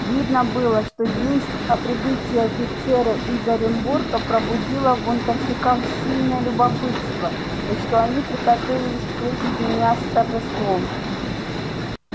видно было что весть о прибытии офицера из оренбурга пробудила в бунтовщиках сильное любопытство и что они приготовились встретить меня с торжеством